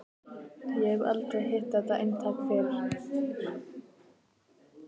Ég hef aldrei hitt þetta eintak fyrr.